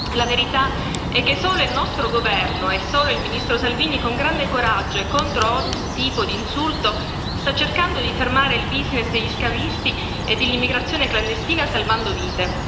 La verità è che solo il nostro governo e solo il ministro Salvini con grande coraggio e contro ogni tipo di insulto, sta cercando di fermare il business degli schiavisti e dell'immigrazione clandestina, salvando vite.